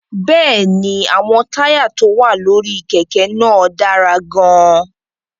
Bẹ́ẹ̀ ni, àwọn táyà tó wà lórí kẹ̀kẹ́ náà dára gan-an.